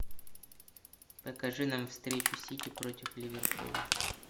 покажи нам встречу сити против ливерпуля